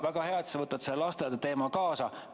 Väga hea, et sa võtad lasteaedade teema kaasa.